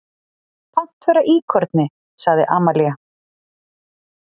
Pant vera íkorni, sagði Amalía.